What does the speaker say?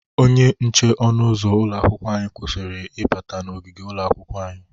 Onye nche ọnụ ụzụ ụlọ akwụkwọ anyị kwụsịrị ịbata na ogigi ụlọakwụkwọ anyị.